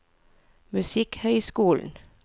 musikkhøyskolen